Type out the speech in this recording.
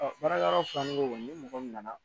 baarayɔrɔ fila nin mɔgɔ nana